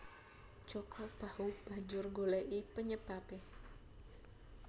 Jaka Bahu banjur nggoleki penyebabe